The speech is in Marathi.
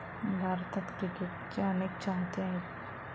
भारतात क्रिकेटचे अनेक चाहते आहेत.